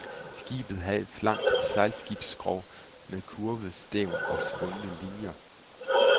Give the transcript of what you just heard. Skibet havde et slankt sejlskibsskrog med kurvet stævn og svungne linier.